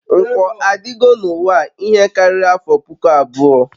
nkwo adịgo n'uwa a ihe karịrị afọ puku abụọ